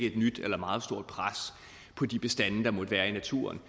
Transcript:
et nyt eller meget stort pres på de bestande der måtte være i naturen